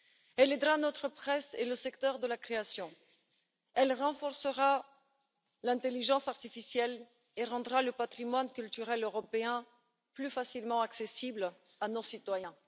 Elle aidera notre presse et le secteur de la création, elle renforcera l'intelligence artificielle et rendra le patrimoine culturel européen plus facilement accessible à nos citoyens.